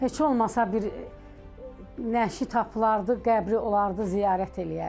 Heç olmasa bir nəşi tapılardı, qəbri olardı ziyarət eləyərdik.